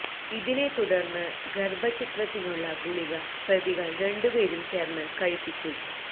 ഇതിനെ തുടർന്ന് ഗർഭഛിദ്രത്തിനുള്ള ഗുളിക പ്രതികൾ രണ്ടു പേരും ചേർന്ന് കഴിപ്പിച്ചു